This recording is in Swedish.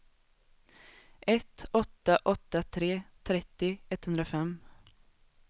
ett åtta åtta tre trettio etthundrafem